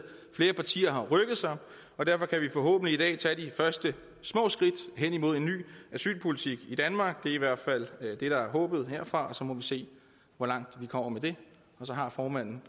flere partier har rykket sig og derfor kan vi forhåbentlig i dag tage de første små skridt hen imod en ny asylpolitik i danmark det er i hvert fald det der er håbet herfra så må vi se hvor langt vi kommer med det og så har formanden